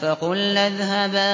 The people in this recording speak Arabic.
فَقُلْنَا اذْهَبَا